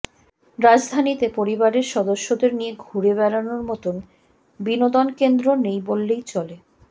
রাজধানীতে পরিবারের সদস্যদের নিয়ে ঘুরে বেড়ানোর মতো বিনোদনকেন্দ্র নেই বললেই চলে